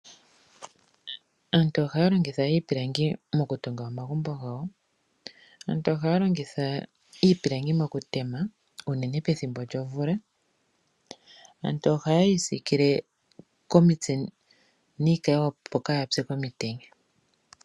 Aantu ohaya longitha iipilangi okutunga omagumbo gawo, aantu ohaya longitha iipilangi okutema unene pethimbo lyomvula. Aantu ohaya isikile komitse niikayiwa opo yaatse komutenya.